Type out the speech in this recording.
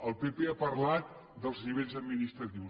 el pp ha parlat dels nivells administratius